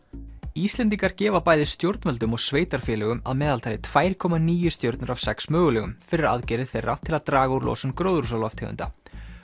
Íslendingar gefa bæði stjórnvöldum og sveitarfélögum að meðaltali tvö komma níu stjörnur af sex mögulegum fyrir aðgerðir þeirra til að draga úr losun gróðurhúsalofttegunda